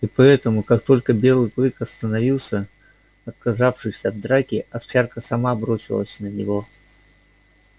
и поэтому как только белый клык остановился отказавшись от драки овчарка сама бросилась на него